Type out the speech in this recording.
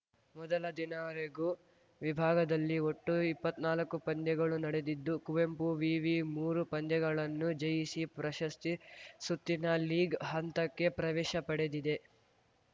ಮೊದಲ ದಿನ ರೆಗು ವಿಭಾಗದಲ್ಲಿ ಒಟ್ಟು ಇಪ್ಪತ್ನಾಲಕ್ಕು ಪಂದ್ಯಗಳು ನಡೆದಿದ್ದು ಕುವೆಂಪು ವಿವಿ ಮೂರು ಪಂದ್ಯಗಳನ್ನು ಜಯಿಸಿ ಪ್ರಶಸ್ತಿ ಸುತ್ತಿನ ಲೀಗ್‌ ಹಂತಕ್ಕೆ ಪ್ರವೇಶ ಪಡೆದಿದೆ